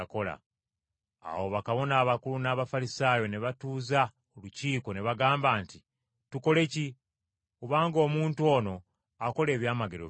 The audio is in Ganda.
Awo bakabona abakulu n’Abafalisaayo ne batuuza olukiiko ne bagamba nti, “Tukole ki? Kubanga omuntu ono akola ebyamagero bingi.